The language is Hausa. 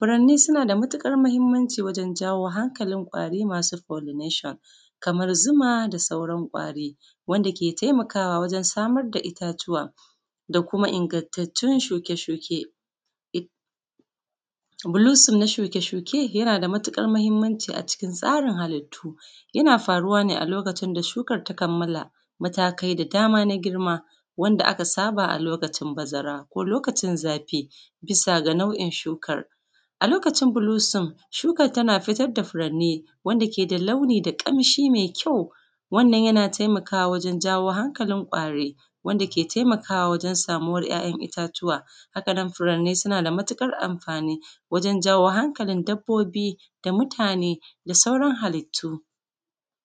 Furanni suna da matuƙar mahimanci wajen jawo hankalin ƙwari masu folinashon kamar zuma, da sauran ƙwari wanda ke taimakawa wajen samar da itatuwa, da kuma ingattatun shuke-shuke. Gulusuf na shuke-shuke yana da matuƙar mahimanci a cikin tsarin halittu. Yana faruwa ne a lokacin da shukan ta kammala matakai da dama na girma, wanda aka saba da shi a lokacin bazara ko lokacin zafi, bisa ga nau'in shukan. A lokacin bulusum, shuka ta fitar da furanni wanda ke da launi, da ƙamshi mai ƙyau. Wannan yana taimakawa wajen jawo hanƙalin ƙwari wanda ke taimakawa wajen samuwar ‘ya’yan itatuwa. Haka nan, furanni suna da matuƙar amfani wajen jawo hankalin dabbobi, da mutane, da sauran halittu.